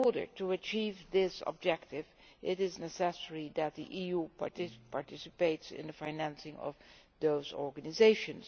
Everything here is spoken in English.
To achieve this objective it is necessary that the EU participates in the financing of those organisations.